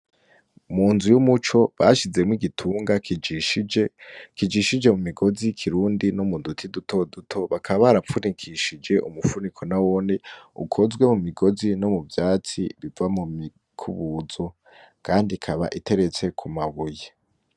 Mu nzu y'umuco bashizemo igitunga kijishije mu migozi kirundi no mu duti dutoduto bakaba barapfunikishije umupfuniko na wone ukozwe mu migozi no mu vyatsi biva mu mikubuzo, kandi ikaba iteretse ku mabuyi.